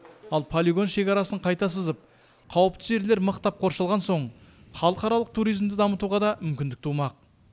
ал полигон шекарасын қайта сызып қауіпті жерлер мықтап қоршалған соң халықаралық туризмді дамытуға да мүмкіндік тумақ